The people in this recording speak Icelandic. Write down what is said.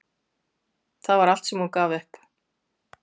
Það var allt sem hún gaf upp.